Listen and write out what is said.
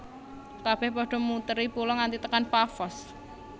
Kabeh pada muteri pulau nganti tekan Pafos